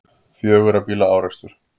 Fjögurra bíla árekstur